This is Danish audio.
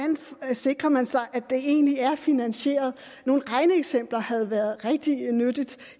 sikrer man sig at det egentlig er finansieret nogle regneeksempler havde været rigtig nyttige